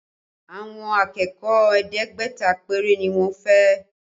Àwọn akẹ́kọ̀ọ́ ẹ̀ẹ́dẹ́gbẹ̀ta péré ni wọ́n fẹ́